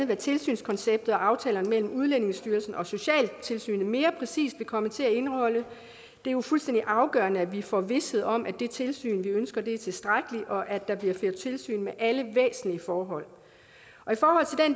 hvad tilsynskonceptet og aftalerne mellem udlændingestyrelsen og socialtilsynet mere præcist vil komme til at indeholde det er jo fuldstændig afgørende at vi får vished om at det tilsyn vi ønsker er tilstrækkeligt og at der bliver ført tilsyn med alle væsentlige forhold